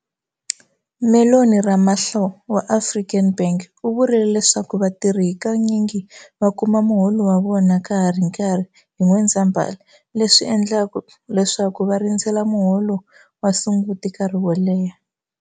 Mellony Ramahlo wa African Bank u vurile leswaku vatirhi hakanyingi va kuma muholo wa vona ka ha ri nkarhi hi N'wendzamhala, leswi endlaka leswaku va rindzela muholo wa Sunguti nkarhi wo leha.